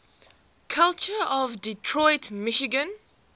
culture of detroit michigan